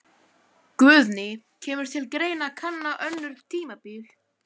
Guðný: Kemur til greina að kanna önnur tímabil?